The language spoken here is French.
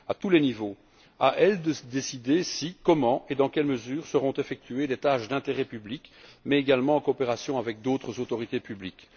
À elles de décider si, comment et dans quelle mesure seront effectuées des tâches d'intérêt public mais également en coopération avec d'autres autorités publiques.